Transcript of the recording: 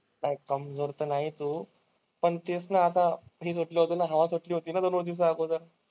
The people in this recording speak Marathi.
नाही, कमजोर तर नाहीये तू. पण तेच ना आता दोन दिवस अगोदर.